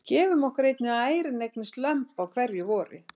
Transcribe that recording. Gefum okkur einnig að ærin eignist lömb á hverju vori.